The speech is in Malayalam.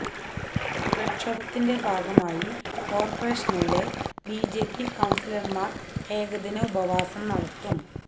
പ്രക്ഷോഭത്തിന്റെ ഭാഗമായി കോര്പ്പറേഷനിലെ ബിജെപി കൌണ്സിലര്മാര് ഏകദിന ഉപവാസം നടത്തും